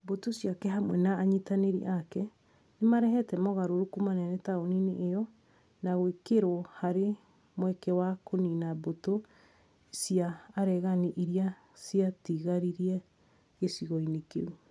Mbũtũ ciake hamwe na anyitanĩri ake, nĩmarehete mogarũrũku manene taũni-inĩ io na gwĩkĩrwo harĩ mweke wa kũnina mbũtũ cia aregani irĩa ciatigarire gĩcigo-inĩ kĩu